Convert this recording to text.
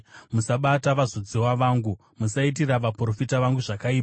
“Musabata vazodziwa vangu; musaitira vaprofita vangu zvakaipa.”